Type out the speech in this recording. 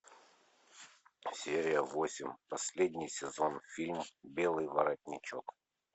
серия восемь последний сезон фильма белый воротничок